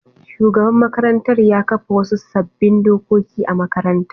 Shugaban makarantar ya kafa wasu sabbin dokoki a makarantar.